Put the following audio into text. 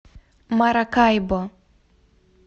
маракайбо